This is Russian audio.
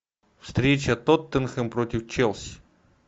встреча тоттенхэм против челси